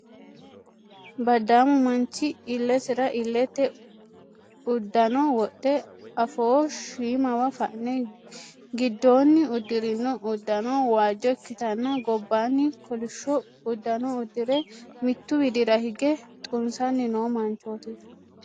Baddaamu manchi illesira illete uddano wodhe afoo shiimawa fane giddoonni uddirino uddano waajjo ikkitanna gobbaanni kolishsho uddano uddire mittu widira hige xunsanni noo manchooti.